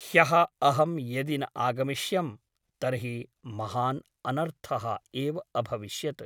ह्यः अहं यदि न आगमिष्यं तर्हि महान् अनर्थः एव अभविष्यत् ।